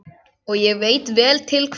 Og ég veit vel til hvers.